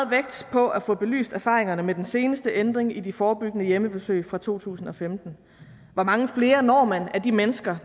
på at få belyst erfaringerne med den seneste ændring af de forebyggende hjemmebesøg fra to tusind og femten hvor mange flere når man af de mennesker